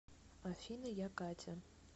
афина я катя